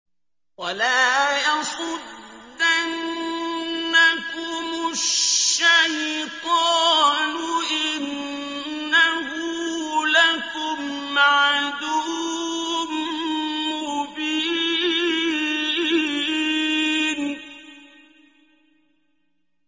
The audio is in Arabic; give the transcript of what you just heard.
وَلَا يَصُدَّنَّكُمُ الشَّيْطَانُ ۖ إِنَّهُ لَكُمْ عَدُوٌّ مُّبِينٌ